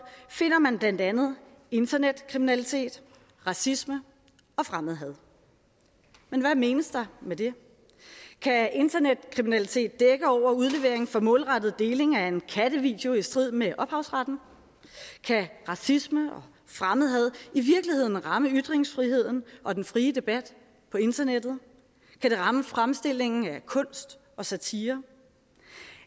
finder man blandt andet internetkriminalitet racisme og fremmedhad men hvad menes der med det kan internetkriminalitet dække over udlevering for målrettet deling af en kattevideo i strid med ophavsretten kan racisme og fremmedhad i virkeligheden ramme ytringsfriheden og den frie debat på internettet kan det ramme fremstillingen af kunst og satire